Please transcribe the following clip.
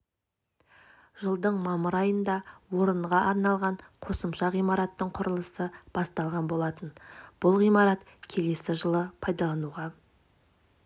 жылдың мамыр айында орынға арналған қосымша ғимараттың құрылысы басталған болатын бұл ғимарат келесі жылы пайдалануға